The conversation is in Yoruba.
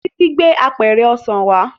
Títí gbé àpẹrẹ ọsàn wá